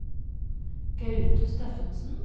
Gaute Steffensen